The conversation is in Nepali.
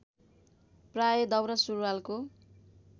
प्राय दौरा सुरूवालको